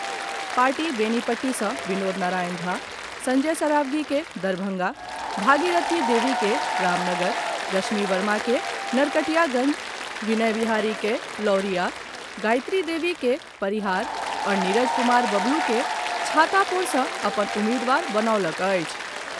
Party Benipatti सॅ विनोद नारायण झा, संजय सरावगी के दरभंगा, भागीरथी देवी के रामनगर, रश्मि वर्मा के नरकटियागंज, विनय बिहारी के लौरिया, गायत्री देवी के परिहार आओर नीरज कुमार बबलू के छातापुर सॅ अपन उम्मीदवार बनौलक अछि।